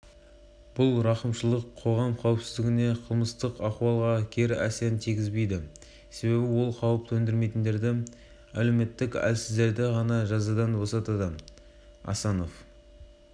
беретін бір сөзбен айтқанда қазақстандықтар өмірінің қауіпсіздігі жыл сайын жақсарып келеді атап өтті бас прокурор